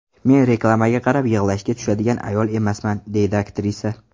Men reklamaga qarab, yig‘lashga tushadigan ayol emasman”, deydi aktrisa.